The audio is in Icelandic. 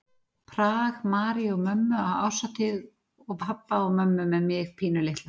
Prag, Maríu og mömmu á árshátíð og pabba og mömmu með mig pínulitla.